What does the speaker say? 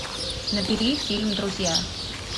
набери фильм друзья